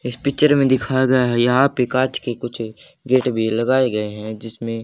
इस पिक्चर में दिखाया गया है यहां पे कांच के कुछ गेट भी लगाए गए हैं जिसमें--